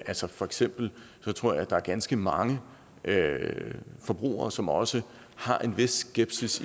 altså for eksempel tror jeg at der er ganske mange forbrugere som også har en vis skepsis